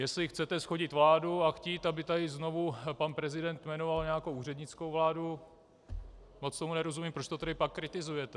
Jestli chcete shodit vládu a chtít, aby tady znovu pan prezident jmenoval nějakou úřednickou vládu, moc tomu nerozumím, proč to tedy pak kritizujete.